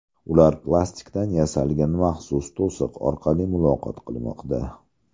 Ular plastikdan yasalgan maxsus to‘siq orqali muloqot qilmoqda.